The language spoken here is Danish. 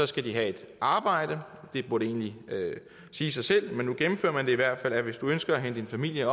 skal de have et arbejde det burde egentlig sige sig selv men nu gennemfører man i hvert fald at hvis du ønsker at hente din familie